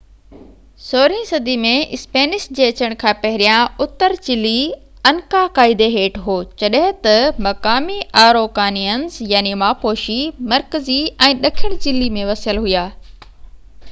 16 صدي ۾ اسپينش جي اچڻ کان پهريان، اتر چلي انڪا قائدي هيٺ هو جڏهن ته مقامي آروڪانيئنز ماپوشي مرڪزي ۽ ڏکڻ چلي ۾ وسيل هئا